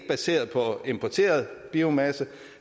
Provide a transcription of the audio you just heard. baseret på importeret biomasse